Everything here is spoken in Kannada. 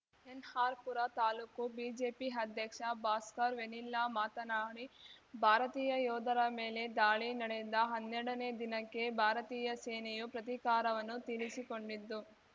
ಎನ್‌ಆರ್‌ಪುರ ತಾಲೂಕು ಬಿಜೆಪಿ ಅಧ್ಯಕ್ಷ ಭಾಸ್ಕರ್‌ ವೆನಿಲ್ಲಾ ಮಾತನಾಡಿ ಭಾರತೀಯ ಯೋಧರ ಮೇಲೆ ದಾಳಿ ನಡೆದ ಹನ್ನೆರಡನೇ ದಿನಕ್ಕೆ ಭಾರತೀಯ ಸೇನೆಯು ಪ್ರತೀಕಾರವನ್ನು ತೀರಿಸಿಕೊಂಡಿದ್ದು